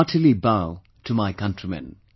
I heartily bow to my countrymen